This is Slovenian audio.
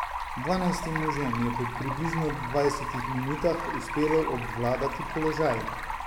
Dvanajstim možem je po približno dvajsetih minutah uspelo obvladati položaj.